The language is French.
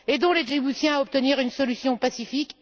Aidons les Djiboutiens à obtenir une solution pacifique!